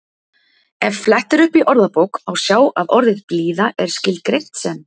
Ef flett er upp í orðabók má sjá að orðið blíða er skilgreint sem